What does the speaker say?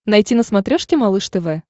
найти на смотрешке малыш тв